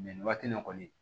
nin waati in na kɔni